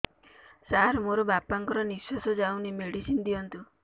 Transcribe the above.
ସାର ମୋର ବାପା ଙ୍କର ନିଃଶ୍ବାସ ଯାଉନି ମେଡିସିନ ଦିଅନ୍ତୁ